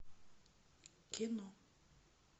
кино